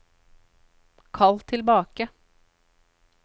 kall tilbake